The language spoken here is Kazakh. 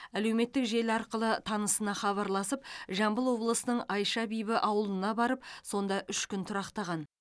әлеуметтік желі арқылы танысына хабарласып жамбыл облысының айша бибі ауылына барып сонда үш күн тұрақтаған